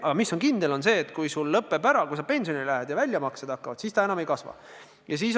Aga kindel on see, et kui sa pensionile lähed ja väljamaksed hakkavad, siis see summa enam ei kasva.